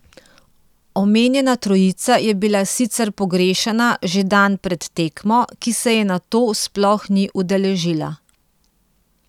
Omenjena trojica je bila sicer pogrešana že dan pred tekmo, ki se je nato sploh ni udeležila.